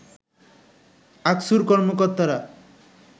আকসুর কর্মকর্তারা